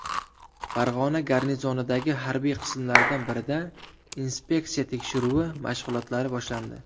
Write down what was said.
Farg‘ona garnizonidagi harbiy qismlardan birida inspeksiya tekshiruvi mashg‘ulotlari boshlandi.